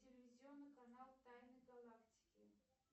телевизионный канал тайны галактики